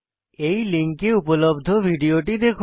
এই লিঙ্কে উপলব্ধ ভিডিওটি দেখুন